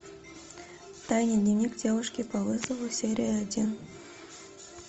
тайный дневник девушки по вызову серия один